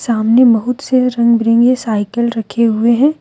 सामने बहुत से रंग बिरंगे साइकिल रखे हुए हैं।